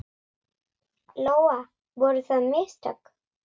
Lóa: Voru það mistök?